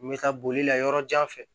N bɛ taa boli la yɔrɔjan fɛ